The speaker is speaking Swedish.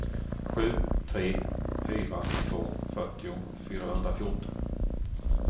sju tre fyra två fyrtio fyrahundrafjorton